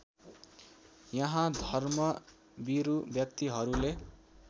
यहाँ धर्मभिरू व्यक्तिहरूले